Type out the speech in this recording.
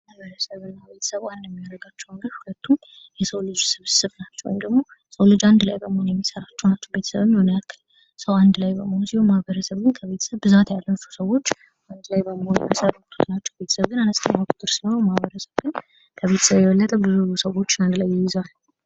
ማበረሰብና የቤተሰብ አንድ ሚያደርጋቸው ነገር ሁለቱም የሰው ልጅ ስብስብ ናቸው። እንዲሁም ደግሞ የሰው ልጅ አንድ ላይ በመሆን የሚሠራቸውን ናቸው። ቤተሰብን ሰው አንድ ላይ በመሆን ሲሆን ማህበረሰብን ከቤተሰብ ብዛት ያላቸውን ሰዎች አንድ ላይ በምሆን የሚመሰርቱት ናቸው። ቤተሰብ ግን አነስተኛ ቁጥር ሲሆን ማበረሰብ ግን ከቤተሰብ የበለጠ ብዙ የሆኑ ሰዎች በአንድ ላይ ይይዛል።